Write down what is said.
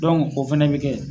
o fana bɛ kɛ